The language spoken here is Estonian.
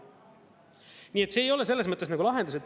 Nii et see ei ole selles mõttes nagu lahendus.